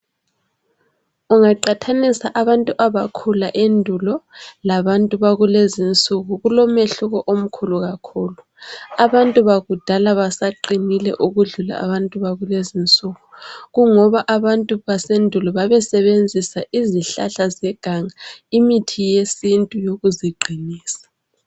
Ungaqathanisa abantu abakhula endulo labantu bakulezi insuku kulomehluko omkhulu kakhulu. Abantu bakudala basaqinile ukudlula abantu bakulezi insuku kungoba abantu basendulo babesebenzisa izihlahla zeganga imithi yesintu ukuziqinisa.